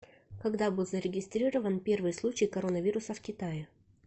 когда был зарегистрирован первый случай коронавируса в китае